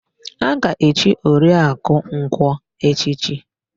A ga-echi Oriakụ Nkwọ echichi?